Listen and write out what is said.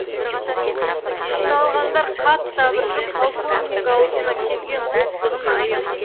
жиналғандар қатты абыржып полковник аузына келген боқтығын аямады